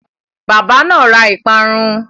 Bábà náà ra ìparun.